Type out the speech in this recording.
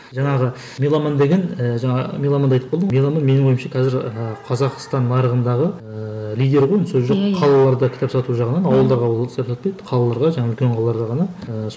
жаңағы меломан деген і жаңа меломанды айтып қалдың ғой меломан менің ойымшы қазір ыыы қазақстан нарығындағы ыыы лидер ғой сөз жоқ қалаларда кітап сату жағынан ауылда қалаларға жаңа үлкен қалаларда ғана ыыы